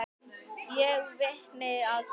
Ég er vitni að því.